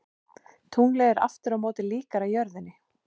Tunglið er aftur á móti líkara jörðinni.